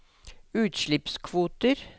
utslippskvoter